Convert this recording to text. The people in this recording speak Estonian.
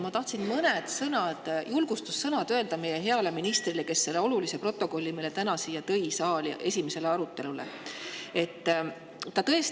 Ma tahtsin mõned julgustussõnad öelda meie heale ministrile, kes selle olulise protokolli täna siia saali esimeseks aruteluks tõi.